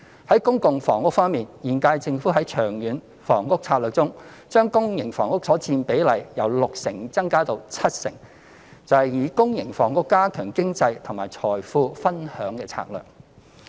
在公共房屋方面，現屆政府在《長遠房屋策略》中，將公營房屋所佔比例由六成增加至七成，便是以公營房屋加強經濟及財富分享的策略。